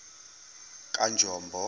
kanjombo